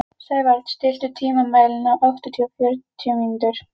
Sævald, stilltu tímamælinn á áttatíu og fjórar mínútur.